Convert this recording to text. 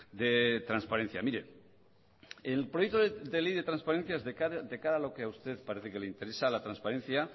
de transparencia mire el proyecto de ley de transparencia de cara a lo que a usted parece que le interesa la transparencia